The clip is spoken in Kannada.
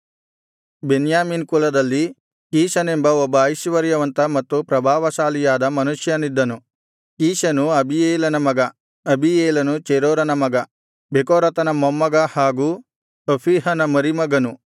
ಬೆನ್ಯಾಮೀನ್ ಕುಲದಲ್ಲಿ ಕೀಷನೆಂಬ ಒಬ್ಬ ಐಶ್ವರ್ಯವಂತ ಮತ್ತು ಪ್ರಭಾವಶಾಲಿಯಾದ ಮನುಷ್ಯನಿದ್ದನು ಕೀಷನು ಅಬೀಯೇಲನ ಮಗ ಅಬೀಯೇಲನು ಚೆರೋರನ ಮಗ ಬೆಕೋರತನ ಮೊಮ್ಮಗ ಹಾಗೂ ಅಫೀಹನ ಮರಿಮಗನು